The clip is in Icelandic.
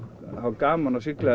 gaman að sigla